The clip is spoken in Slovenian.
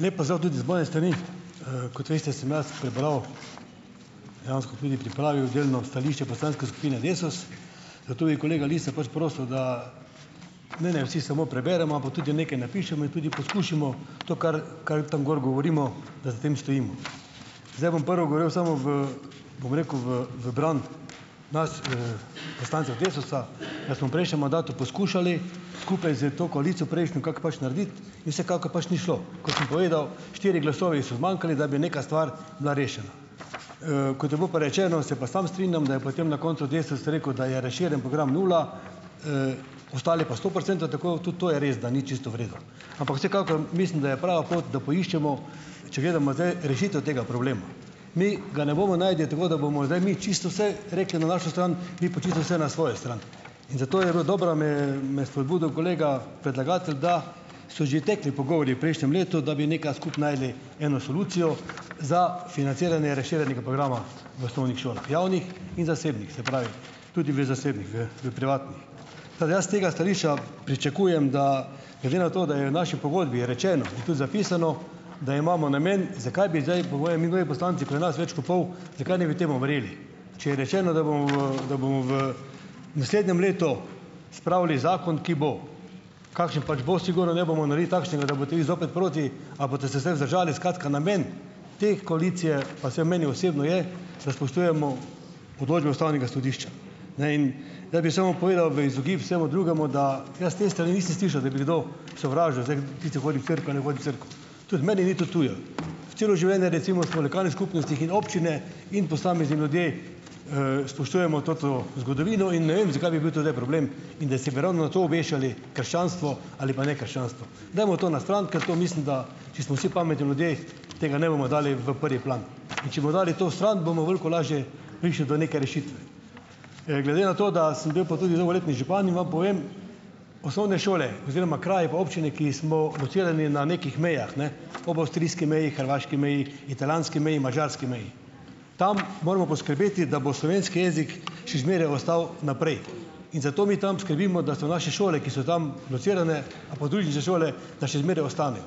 Lep pozdrav tudi z moje strani! Kot veste, sem jaz prebral, dejansko tudi pripravil delno, stališče poslanske skupine Desus, zato bi kolega Lisca pač prosil, da naj ne vsi samo preberemo, ampak tudi nekaj napišemo in tudi poskušamo to, kar, kar tam gor govorimo, da za tem stojimo. Zdaj bom prvo govoril samo v, bom rekel, v, v bran nas, poslancev Desusa, da smo v prejšnjem mandatu poskušali skupaj s to koalicijo, prejšnjo, kako pač narediti in vsekakor pač ni šlo. Kot sem povedal, štiri glasovi so zmanjkali, da bi neka stvar bila rešena, kot je bilo pa rečeno, se pa samo strinjam, da je potem na koncu Desus rekel, da je razširjen program nula, ostali pa sto procentov, tako, tudi to je res, da ni čisto v redu. Ampak vsekakor, mislim, da je prava pot, da poiščemo, če gledamo zdaj rešitev tega problema, mi ga ne bomo našli tako, da bomo zdaj mi čisto vse rekli na našo stran, vi pa čisto vse na svojo stran, in zato je bilo dobro me, me je spodbudil kolega predlagatelj, da so že tekli pogovori v prejšnjem letu, da bi nekaj skupaj našli eno solucijo za financiranje razširjenega programa v osnovnih šolah, javnih in zasebnih. Se pravi, tudi v zasebnih, v, v privatnih. Tako da jaz s tega stališča pričakujem, da, glede na to, da je v naši pogodbi rečeno, pa tudi zapisano, da imamo namen, zakaj bi zdaj, povej mi, drugi poslanci, ko je nas več kot pol, zakaj ne bi temu verjeli? Če je rečeno, da bomo, da bomo v naslednjem letu spravili zakon, ki bo, kakšen pač bo, sigurno ne bomo naredili takšnega, da boste vi zopet proti, a boste se zdaj vzdržali, skratka, namen te koalicije, pa vsaj meni osebno je, da spoštujemo odločbe ustavnega sodišča. Ne, in ... Zdaj bi samo povedal, v izogib vsemu drugemu, da jaz te strani nisem slišal, da bi kdo sovražil, zdaj tisti, ki hodi v cerkev, naj hodi v cerkev. Tudi meni ni to tuje. Celo življenje recimo smo v lokalni skupnostih in občine in posamezni ljudje, spoštujemo to zgodovino in ne vem, zakaj bi bil to zdaj problem, in da se bi ravno na to obešali, krščanstvo ali pa ne krščanstvo. Dajmo to na stran, ker to mislim, da, če smo vsi pametni ljudje, tega ne bomo dali v prvi plan in če bomo dali to stran, bomo veliko lažje prišli do neke rešitve. Glede na to, da sem bil pa tudi dolgoletni župan in vam povem, osnovne šole oziroma kraji pa občine, ki smo locirani na nekih mejah, ne, ob avstrijski meji, hrvaški meji, italijanski meji, madžarski meji, tam moramo poskrbeti, da bo slovenski jezik še zmeraj ostal naprej in zato mi tam skrbimo, da so naše šole, ki so tam locirane, a podružnične šole, da še zmeraj ostanejo.